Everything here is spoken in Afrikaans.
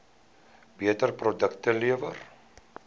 beter produkte lewer